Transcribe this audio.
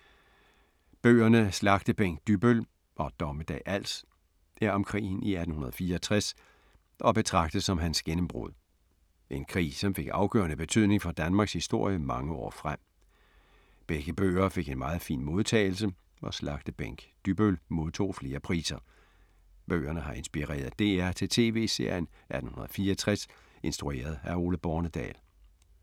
Bøgerne Slagtebænk Dybbøl og Dommedag Als er om krigen i 1864 og betragtes som hans gennembrud. En krig som fik afgørende betydning for Danmarks historie mange år frem. Begge bøger fik en meget fin modtagelse og Slagtebænk Dybbøl modtog flere priser. Bøgerne har inspireret DR til tv-serien 1864 instrueret af Ole Bornedal.